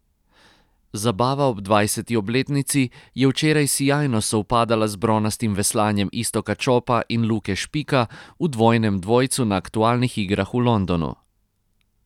Zabava ob dvajseti obletnici je včeraj sijajno sovpadala z bronastim veslanjem Iztoka Čopa in Luke Špika v dvojnem dvojcu na aktualnih igrah v Londonu.